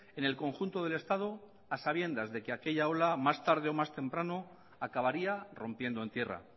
en el conjunto del estado a sabiendas de que aquella ola más tarde o más temprano acabaría rompiendo en tierra